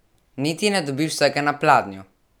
Niti ne dobiš vsega na pladnju!